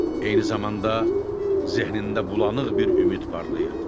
Eyni zamanda zehnində bulanıq bir ümid parlayırdı.